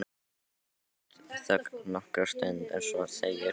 Stutt þögn nokkra stund en svo segir Bjössi